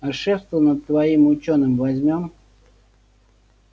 а шефство над твоим учёным возьмём